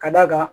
Ka d'a kan